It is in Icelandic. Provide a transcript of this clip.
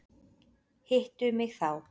Hittu mig þá.